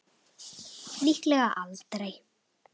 Líklega aldrei.